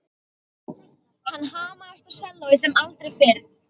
Hann hamaðist á sellóið sem aldrei fyrr.